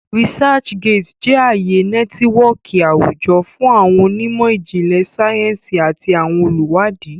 ResearchGate jẹ aaye nẹtiwọọki awujọ fun awọn onimo ijinlẹ sayensi ati awọn oluwadi.